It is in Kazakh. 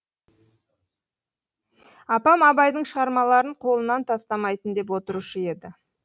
апам абайдың шығармаларын қолынан тастамайтын деп отырушы еді